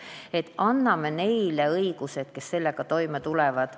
Nii et anname õiguse selleks neile, kes sellega toime tulevad.